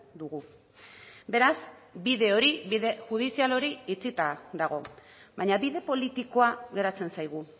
dugu beraz bide hori bide judizial hori itxita dago baina bide politikoa geratzen zaigu